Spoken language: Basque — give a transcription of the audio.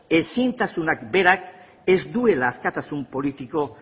ezintasunak berak ez duela askatasun politiko